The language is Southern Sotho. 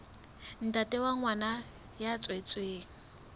ntate wa ngwana ya tswetsweng